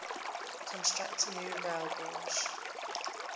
construct new railgauge